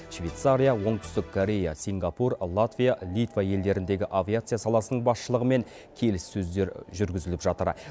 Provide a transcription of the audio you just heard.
швейцария оңтүстік корея сингапур латвия литва елдеріндегі авиация саласының басшылығымен келіссөздер жүргізіліп жатыр